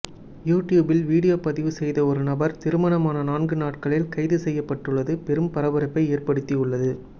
யூடியூபில் வீடியோ பதிவு செய்த ஒரு நபர் திருமணமான நான்கு நாட்களில் கைது செய்யப்பட்டுள்ளது பெரும் பரபரப்பை ஏற்படுத்தி உள்ளது